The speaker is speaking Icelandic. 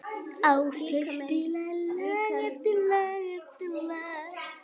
Áslaug spilaði lag eftir lag.